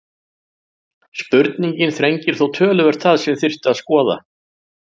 Spurningin þrengir þó töluvert það sem þyrfti að skoða.